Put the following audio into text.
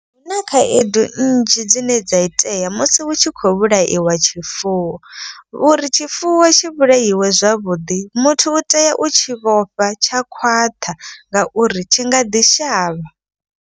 Zwi na khaedu nnzhi dzine dza itea musi hu tshi khou vhulaiwa tshifuwo. Uri tshifuwo tshi vhulaiwe zwavhuḓi muthu u tea u tshi vhofha tsha khwaṱha ngauri tshi nga ḓi shavha.